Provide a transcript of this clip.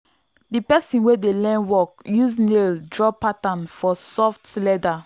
the person wey dey learn work use nail draw pattern for soft leather.